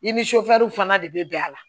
I ni fana de bɛ bɛn a la